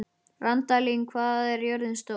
Randalín, hvað er jörðin stór?